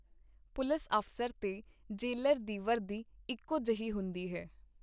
(ਪੁਲਸ ਅਫਸਰ ਤੇ ਜੇਲਰ ਦੀ ਵਰਦੀ ਇਕੋ ਜਹੀ ਹੁੰਦੀ ਹੈ.